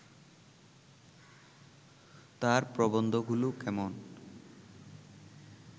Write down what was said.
তাঁর প্রবন্ধগুলো কেমন